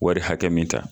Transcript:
Wari hakɛ min ta